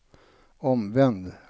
omvänd